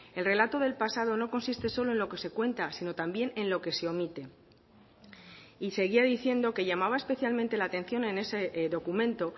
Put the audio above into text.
el relato del pasado no consiste solo en lo que se cuenta sino también en lo que se omite y seguía diciendo que llamaba especialmente la atención en ese documento